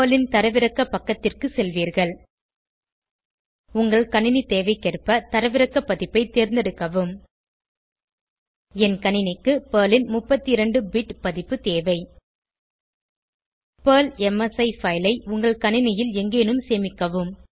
Perl ன் தரவிறக்க பக்கத்திற்கு செல்வீர்கள் உங்கள் கணினி தேவைக்கேற்க தரவிறக்க பதிப்பை தேர்ந்தெடுக்கவும் என் கணினிக்கு பெர்ல் ன் 32 பிட் பதிப்பு தேவை பெர்ல் எம்எஸ்இ பைல் ஐ உங்கள் கணினியில் எங்கேனும் சேமிக்கவும்